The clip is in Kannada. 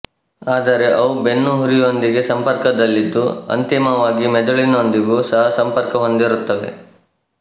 ಆದರೆ ಅವು ಬೆನ್ನುಹುರಿಯೊಂದಿಗೆ ಸಂಪರ್ಕದಲ್ಲಿದ್ದು ಅಂತಿಮವಾಗಿ ಮೆದುಳಿನೊಂದಿಗೂ ಸಹ ಸಂಪರ್ಕ ಹೊಂದಿರುತ್ತವೆ